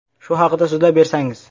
Shu haqida so‘zlab bersangiz.